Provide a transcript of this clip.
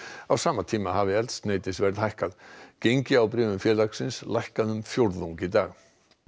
á sama tíma hafi eldsneytisverð hækkað gengi á bréfum félagsins lækkaði um fjórðung í dag